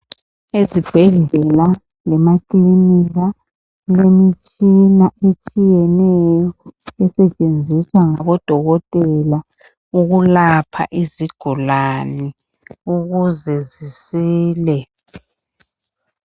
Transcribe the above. Ezibhedlela lemakilinika kulemitshina etshiyeneyo esetshenziswa ngabodokotela ukulapha izigulane ukuze zisile.